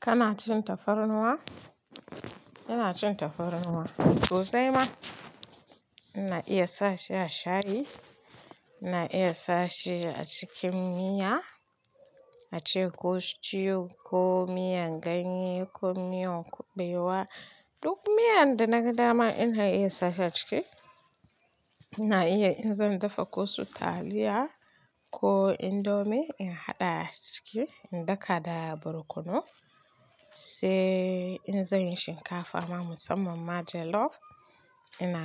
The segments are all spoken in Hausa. Kana cin tafarnuwa? Ina cin tafarnuwa. So sai ma, ina iya sashi a shayi, ina iya sashi a cikin miya, ace ko stew ko miyan ganye ko miyan kuɓewa. Duk miyan da naga dama ina iya sashi a ciki. Ina iya in zan dafa ko sutaliya ko indomie in haɗa a ciki in daka da barkono. Sai in zanyi shinkafa ma musamman ma jollof ina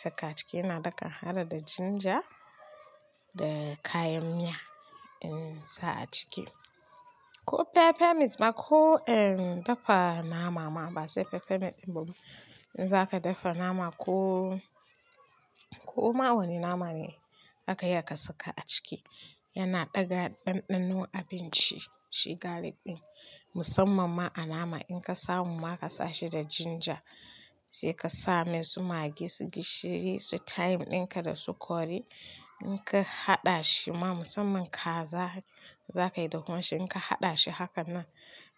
saka a ciki ina daka har da ginger da kayan miya insa a ciki. Ko pepper meat ma ko, eh in dafa nama ma ba sai pepper mix ba. In zaka dafa nama ko, ko ma wane nama ne zaka iya ka saka a ciki. Yana ɗaga ɗanɗano abinci shi garlic ɗin musamman ma a nama in ka samu ma ka sa shi da ginger sai ka samai su magi su gishiri, su thyme ɗinka da su curry in ka haɗa shi ma musamman kaza zakayi dahuwan shi in ka haɗa shi hakan nan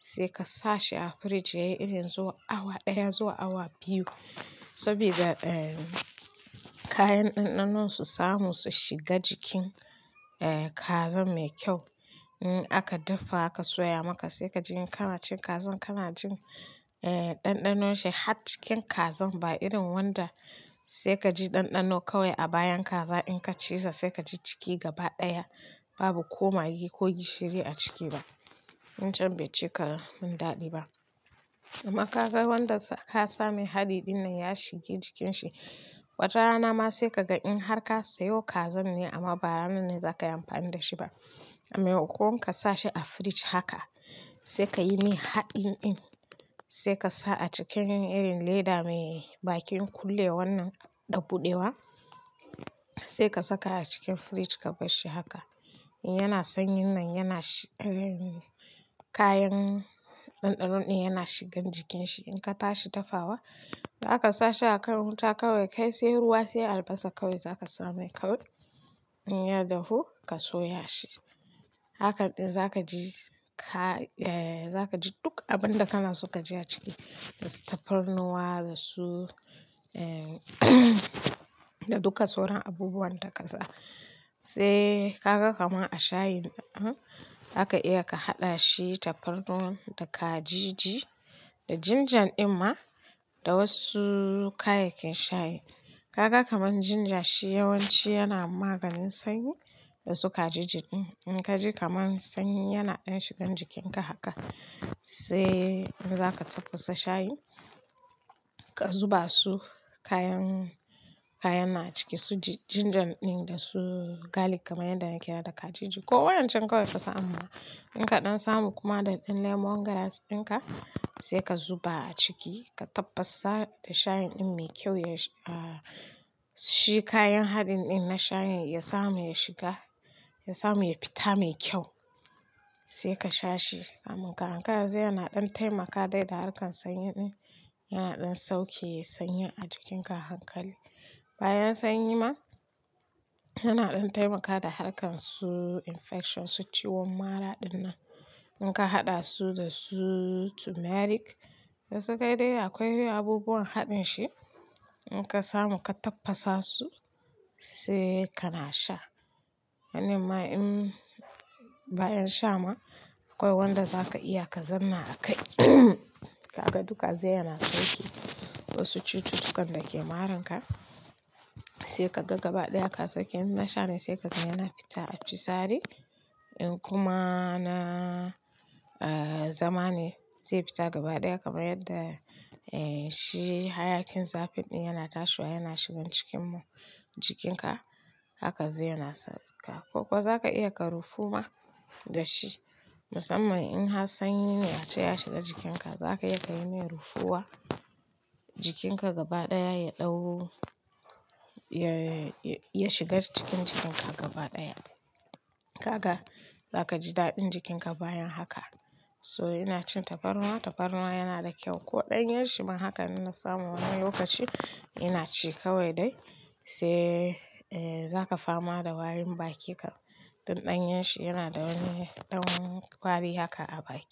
sai ka sa shi a fridge yayi irin zuwa awa ɗaya zuwa awa biyu. Saboda, eh kayan ɗanɗano su samu su shiga jikin, eh kazan mai kyau. In aka dafa aka soya maka sai kaji kana cin kazan kana jin, eh ɗanɗanon shi har cikin kazan ba irin wanda sai kaji ɗanɗano kawai a bayan kaza in ka ciza sai kaji ciki gaba ɗaya babu ko magi ko gishiri a ciki ba. Can bai cika mun daɗi ba. Amma ka ga wanda ka sa mai haɗi ɗin nan ya shige jikin shi. Wata rana ma sai kaga in har ka sayo kazan ne amma ba ranar ne zaka yi amfani da shi ba. Maimakon ka sa shi a fridge haka sai kayi mai haɗin ɗin sai ka sa a cikin irin leda mai bakin kullewannan da buɗewa sai ka saka a cikin fridge ka barshi haka. Yana sanyin nan yana shi, eh kayan ɗanɗano ɗin yana shigan jikin shi. In ka tashi dafawa za ka sa shi a kan wuta kawai kai sai ruwa sai albasa kawai zaka samai kawai. In ya dahu ka soya shi. Haka ɗin zaka ji ka, eh zaka ji duk abun da kana so ka ji a ciki. Dasu tafarnuwa dasu, eh da duka sauran abubuwan da ka sa. Sai ka ga kamar a shayin zaka iya ka haɗa shi tafarnuwa da kajiji da ginger ɗin ma da wasu kayayyakin shayi. Kaga kamar ginger shi yawanci yana maganin sanyi dasu kajiji ɗin. In ka ji kamar sanyi yana ɗan shigan jikinka haka sai in zaka tafasa shayi ka zuba su kayan, kayan na ciki su ji ginger ɗin da su garlic kamar yadda na kira da kajiji. Ko wayancan kawai ka samu ma in ka ɗan samu kuma da ɗan lemongrass ɗinka sai ka zuba a ciki ka tafasa da shayin ɗin mai kyau ya, ah, shi kayan haɗin ɗin na shayin ya samu ya shiga ya samu ya fita mai kyau sai ka sha shi. Kamun ka ankara zai yana ɗan taimaka dai da harkar sanyi ɗin. Yana ɗan sauke sanyin a jikinka a hankali. Bayan sanyi ma yana ɗan taimaka da harkar su infection su ciwon mara ɗinnan. In ka haɗa su da su turmeric, dasu kai dai akwai abubuwan haɗin shi. In ka samu ka tafasa su sai kana sha. Wannan ma in bayan sha ma akwai wanda zaka iya ka zanna a kai. Kaga duka zai yana sauke wasu cututtukan dake maranka sai ka ga gaba ɗaya ka saki. In na sha ne sai ka ga yana fita a fitsari. In kuma na, ah, zama ne zai fita gaba ɗaya kamar yadda, eh shi hayakin zafi ɗin yana tashiwa yana shigan cikin jikinka. Haka zai yana saka. Ko kuwa zaka iya ka rufuma da shi musamman in har sanyi ne ace ya shiga jikinka. Zaka iya kayi mai rufuwa jikinka gaba ɗaya ya ɗau, ya, ya shiga cikin jikinka gaba ɗaya. Kaga za ka ji daɗin jikinka bayan haka. So ina cin tafarnuwa, tafarnuwa yana da kyau ko ɗanyan shi ma. Haka inna samu wani lokaci ina ci kawai dai sai, eh zaka fama da warin baki kam. Tun ɗanyar shi yana da wani ɗan wari haka a baki.